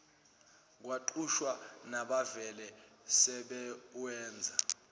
kuqashwa nabavele sebewenza